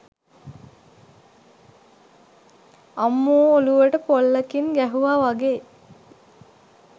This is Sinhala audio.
අම්මෝ ඔලුවට පොල්ලකින් ගැහුව වගේ